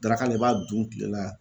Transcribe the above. Daraka la i b'a dun kile la